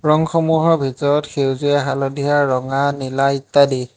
ৰঙসমূহৰ ভিতৰত সেউজীয়া হালধীয়া ৰঙা নীলা ইত্যাদি।